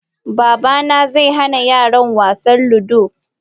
Babana zai hana yaran wasan ludo.